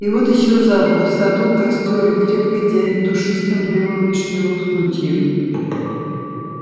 и вот ещё запах в саду костёр и крепко тянет душистым дымом вишнёвых сучьев